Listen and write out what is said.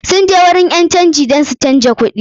Sun je wajen ƴan canji dan su canja kuɗin su.